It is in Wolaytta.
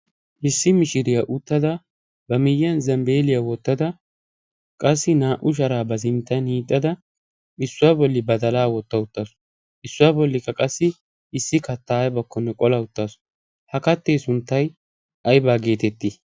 issi mishiriyaa uttada ba miyyiyan zambbeeliyaa wottada qassi naa"u sharaa ba zinttan iixxada issuwaa bolli ba dalaa wotta uttaasu issuwaa bollikka qassi issi kattaayabakkonne qola uttaasu ha kattee sunttay aybaa geetettii?